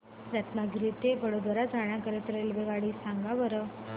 रत्नागिरी ते वडोदरा जाण्या करीता रेल्वेगाड्या सांगा बरं